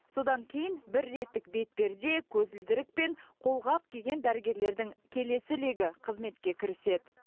содан кейін бір реттік бетперде көзілдірік пен қолғап киген дәрігерлердің келесі легі қызметке кіріседі